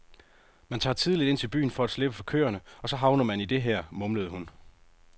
Man tager tidligt ind til byen for at slippe for køerne og så havner man i dette her, mumlede hun.